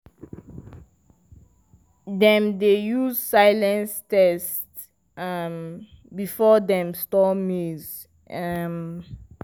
dem dey use silence tests um before dem store maize. um